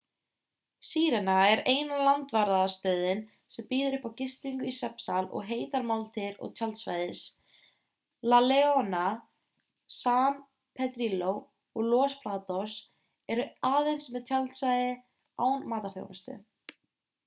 sirena er eina landvarðarstöðin sem býður upp á gistingu í svefnsal og heitar máltíðir og tjaldsvæðis la leona san pedrillo og los patos eru aðeins með tjaldstæði án matarþjónustu